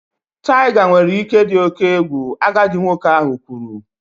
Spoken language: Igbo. Tiger nwere ike ịdị oke egwu, agadi nwoke ahụ kwuru